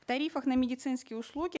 в тарифах на медицинские услуги